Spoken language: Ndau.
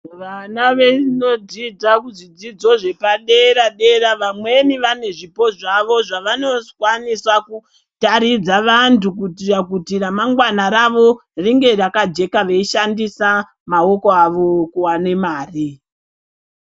Vana vanodzidza kuzvidzidzo zvepadera dera vamweni vanezvipo zvavo zvavanokwanisa kutaridza vantu kuitira ramangwana ravo ringe rakajeka veishanndisa maoko avo kuwane mare.